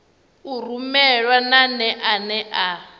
u rumelwa nane ane a